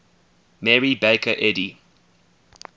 mary baker eddy